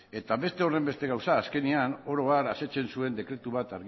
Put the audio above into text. eta beste horren beste gauza azkenean oro har asetzen zuen dekretu bat